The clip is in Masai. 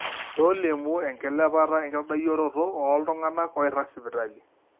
tolimu enkilepata enkitadoyioroto ooltung'anak oirag sipitali